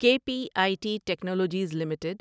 کے P I T Technologies limited